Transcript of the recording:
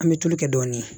An bɛ tulu kɛ dɔɔnin